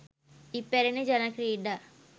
ඉපැරණි ජන ක්‍රීඩා